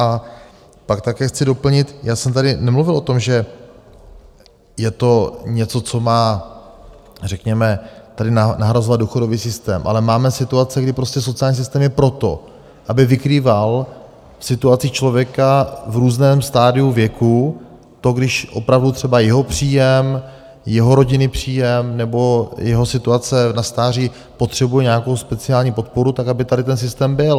A pak také chci doplnit, já jsem tady nemluvil o tom, že je to něco, co má řekněme tady nahrazovat důchodový systém, ale máme situace, kdy prostě sociální systém je proto, aby vykrýval situaci člověka v různém stadiu věku, to když opravdu třeba jeho příjem, jeho rodinný příjem nebo jeho situace na stáří potřebuje nějakou speciální podporu, tak aby tady ten systém byl.